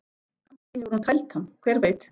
Kannski hefur hún tælt hann, hver veit?